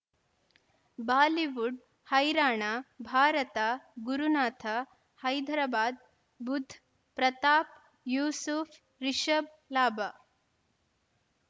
Bollywood ಹೈರಾಣ ಭಾರತ ಗುರುನಾಥ್ ಹೈದರಾಬಾದ್ ಬುಧ್ ಪ್ರತಾಪ್ ಯೂಸುಫ್ ರಿಷಬ್ ಲಾಭ